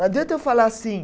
Não adianta eu falar assim.